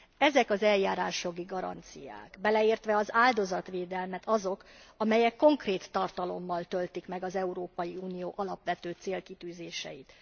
Ezek az eljárásjogi garanciák beleértve az áldozatvédelmet azok, amelyek konkrét tartalommal töltik meg az Európai Unió alapvető célkitűzéseit.